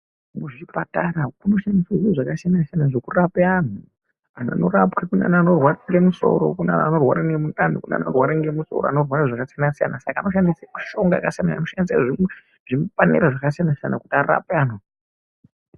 Kuzvipatara kunoshandiswe zviro zvakasiyana siyana zvekurape anthu. Anhtu anorapwa kune anthu anorwarike musoro, kune anhu anorwara ngemundani kune vanorwaririke zvakasiyana siyana saka anenge ane mishonga inoshandiswa zvakasiyana siyana kuti arape anhtu.